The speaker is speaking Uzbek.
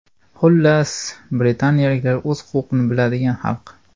Xullas, britaniyaliklar o‘z huquqini biladigan xalq.